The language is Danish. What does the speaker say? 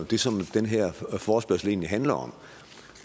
det som den her forespørgsel egentlig handler om og